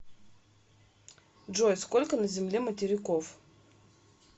джой сколько на земле материков